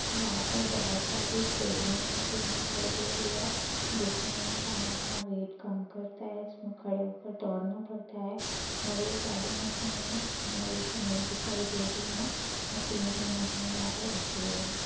यहाँ पर बहोत सारी ट्रेडमिल मशीन दिखाई दे रही है जिसमें इंसान अपना वेट कम करता है जिसमें खड़े होकर दौड़ना पड़ता है और ये सारी मशीनें नई की नई दिखाई दे रही हैं और तीन-तीन मशीनें यहाँ पे रखी हुई हैं।